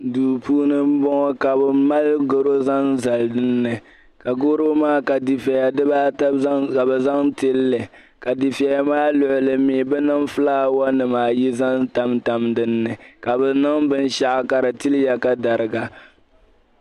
duu puuni m boŋɔ ka bɛ mali garo zaŋ zali dini ka garo maa ka difeya di baa ata ka bɛ zaŋ tili li ka difeya maa luɣili ka bɛ niŋ fulaawa nim ayi tam tam dini ka bɛ nin binshɛɣu ka di tiliya ka dariga